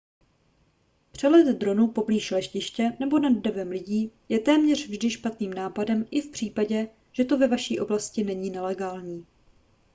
přelet dronu poblíž letiště nebo nad davem lidí je téměř vždy špatným nápadem i v případě že to ve vaší oblasti není nelegální